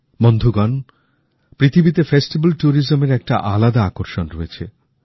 বন্ধুগণ পৃথিবীতে উতসব পর্যটনের একটা আলাদা আকর্ষণ রয়েছে